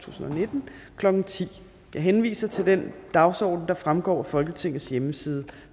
tusind og nitten klokken ti jeg henviser til den dagsorden der fremgår af folketingets hjemmeside